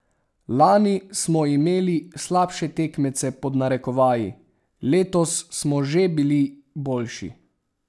Lani smo imeli slabše tekmece pod narekovaji, letos smo že bili boljši.